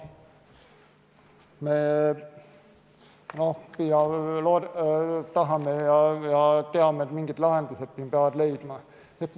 Me teame, et mingid lahendused siin peab leidma.